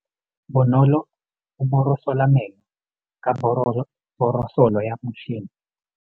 Bonolô o borosola meno ka borosolo ya motšhine.